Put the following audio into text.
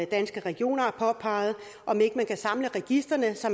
danske regioner har påpeget om ikke man kan samle registrene så